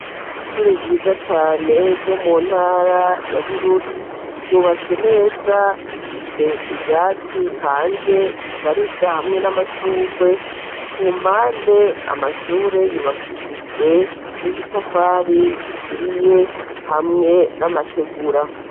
Ishure ryiza cane ryo mu ntara ya Bururi ryubatse neza rifise ivyatsi hanze bishariza hamwe n'amashurwe, ku mpande amashure yubakishijwe n'ibitafari bituriye hamwe n'amategura.